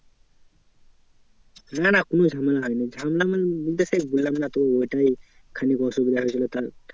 না না কোনো ঝামেলা হয়নি। ঝামেলা বলতে বললাম না তোর ওটারই খালি অসুবিধা হয়েছিল তার